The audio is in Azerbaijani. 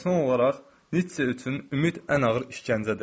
Və son olaraq, Nitşe üçün ümid ən ağır işgəncədir.